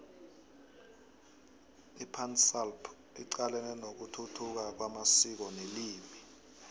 ipansalp icalene nokuthuthuka kwamasiko nelimi